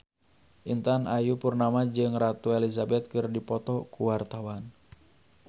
Intan Ayu Purnama jeung Ratu Elizabeth keur dipoto ku wartawan